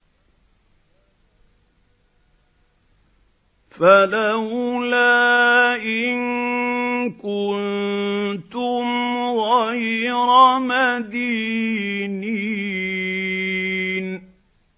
فَلَوْلَا إِن كُنتُمْ غَيْرَ مَدِينِينَ